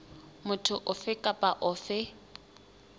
motho ofe kapa ofe a